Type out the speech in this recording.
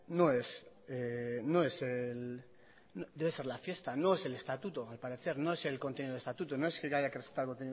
debe ser la fiesta no es el estatuto al parecer no es el contenido del estatuto no es que haya que respetar el contenido